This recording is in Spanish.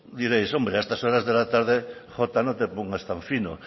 diréis hombre a estas horas de la tarde jota no te pongas tan fino